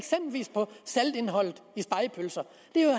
saltindholdet i spegepølser